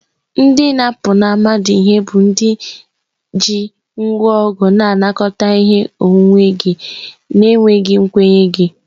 Ndị na-apụnara mmadụ ihe bụ ndị ji ngwa ọgụ na-anakọta ihe onwunwe gị na-enweghị nkwenye gị.